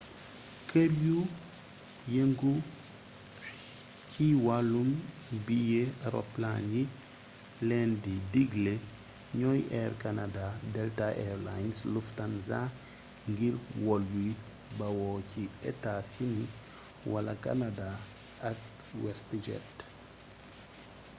kër yu yëngu xi wàllum biyee roplaan yi leen di digle ñoy air canada delta air lines lufthansa ngir wol yuy bawoo ci etaa-sini wala kanadaa ak westjet